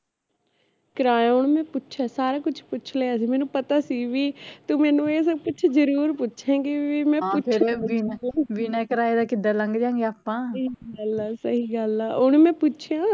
ਕਿਰਾਇਆ ਓਹਨੂੰ ਮੈਂ ਪੁੱਛਿਆ ਸਾਰਾ ਕੁਛ ਪੁੱਛ ਲਿਆ ਸੀ ਮੇਨੂ ਪਤਾ ਸੀ ਵੀ ਤੂੰ ਮੇਨੂ ਏ ਸਬ ਕੁਛ ਜਰੂਰ ਪੁੱਛੇਗੀ ਵੀ ਸਹੀ ਗੱਲ ਆ ਸਹੀਂ ਗੱਲ ਆ ਓਹਨੂੰ ਮੈਂ ਪੁੱਛਿਆ